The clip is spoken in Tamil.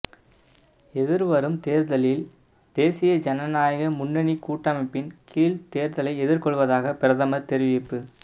எதிர்வரும் தேர்தலில் தேசிய ஜனநாயக முன்னணி கூட்டமைப்பின் கீழ் தேர்தலை எதிர்கொள்வதாக பிரதமர் தெரிவிப்பு